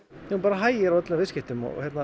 það bara hægir á öllum viðskiptum